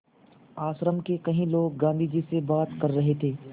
आश्रम के कई लोग गाँधी जी से बात कर रहे थे